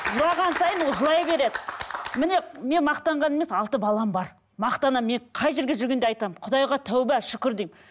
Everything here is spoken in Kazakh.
жылаған сайын ол жылай береді міне мен мақтанғаным емес алты балам бар мақтанамын мен қай жерде жүргенде айтамын құдайға тәубе шүкір деймін